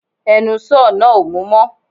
Ẹnu sọ́ọ̀ náà ò mú mọ̀